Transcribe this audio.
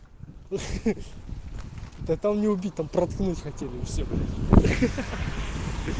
ха-ха да там не убить там проткнуть хотели и всё ха-ха